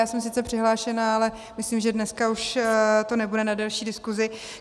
Já jsem sice přihlášená, ale myslím, že dneska už to nebude na delší diskusi.